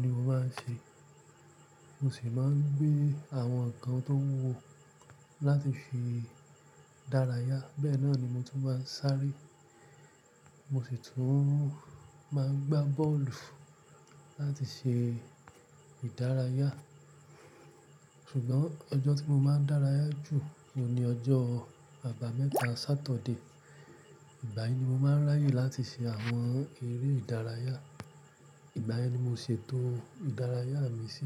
ni mo máa ń ṣe. Mo sì máa ń gbé àwọn nǹkan tó wúwo láti fi dárayá. Bẹ́ẹ̀ náà ni mo tún máa ń sáré. Mo sì tún máa ń gbá bọ́ọ̀lù láti ṣe ìdárayá. Ṣùgbọ́n ọjọ́ tí mo máa ń dárayá jù ló ni ọjọ́ àbámẹ́ta, ṣátọ̀dé. Ìgbà yìí ni mo máa ń ráyè láti ṣe àwọn eré ìdárayá. Ìgbàyẹn ni mo ṣe ètò ìdárayá mi sí.